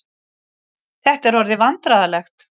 Þetta er orðið vandræðalegt.